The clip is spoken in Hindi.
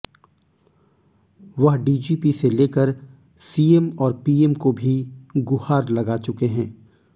वह डीजीपी से लेकर सीएम और पीएम को भी गुहार लगा चुके हैं